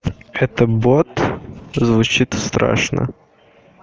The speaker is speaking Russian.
это бот звучит страшно